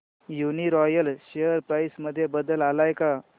Uniroyal share price मध्ये बदल आलाय का